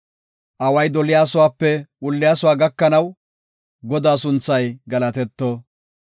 Away doliyasuwape wulliyasuwa gakanaw, Godaa sunthay galatetto.